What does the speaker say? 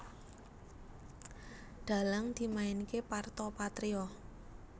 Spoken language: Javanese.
Dhalang dimainké Parto Patrio